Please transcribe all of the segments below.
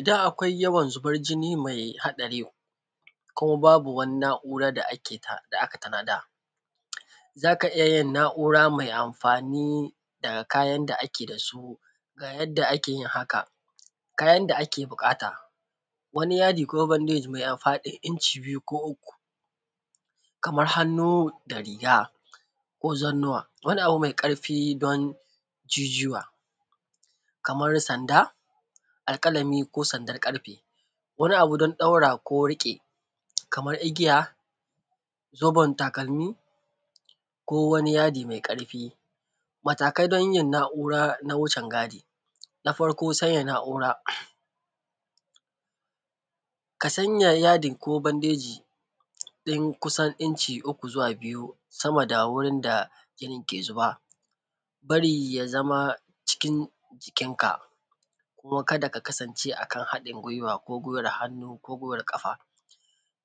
Idan akwai yawan zuban jini mai haɗari ko babu wani na’ura da aka tanaza za ka iya yin na’ura me anfani da kayan da ake da su ga yanda kake yin haka, ga yanda ake buƙata kane ma yadi ko bandeji me faɗin inci biyu ko uku, kaman hannu da riga ko zannuwa ko wani abu me ƙarfi don jijuwa kamar sanda, alƙalami ko sandar ƙarfe, wani abu don ɗaura ko riƙe wa kamar igiya zoben takalmi ko wani yadi me ƙarfi. Matakai don yin na’ura na wucingadi, na farko sanya na’ura, ka sanya yadi ko bandeji don kusan inci uku zuwa huɗu sama da wurin da jinin yake zuba, bari ya zama cikin jikinka kuma ka da ka kasance cikin haɗin gwiwa, kuma ka da ka ɗaura hannu da ƙafa.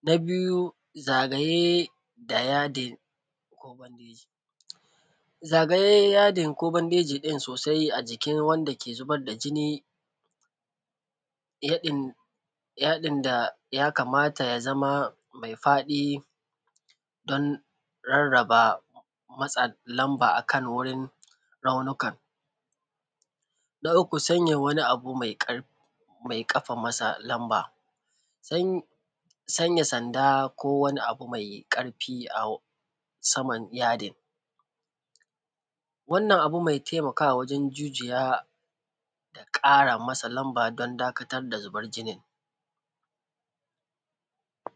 Na biyu zagaye da yadin ko bandeji, zagaye yadin ko bandejin sosai a jikin wanda ke zubar da jini, yadin ya kamata ya zama me faɗi don rarraba matsanon ba akan wajen raunukan, na uku sanya wani abu me ƙafa masa nonba, sanya sanda ko wani abu me ƙarfi a saman yadin wannan abu mai taimakawa wajen jijiya ya ƙara masa nonba don dakatar da zuban jinin.